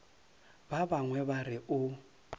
ba bangwe ba re o